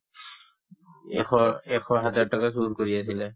এশ এশ হাজাৰ টকা চুৰ কৰি আছিলে